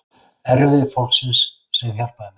Erfiði fólksins sem hjálpaði mér.